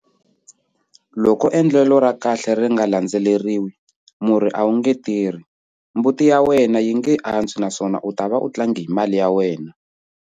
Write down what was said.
Loko endlelo ra kahle ri nga landzeleriwi, murhi a wu nge tirhi, mbuti ya wena a yi nge antswi naswona u ta va u tlange hi mali ya wena.